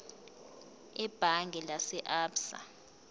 ebhange lase absa